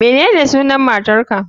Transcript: Menene sunan matar ka